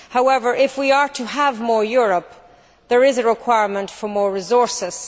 However, if we are to have more Europe, there is a requirement for more resources.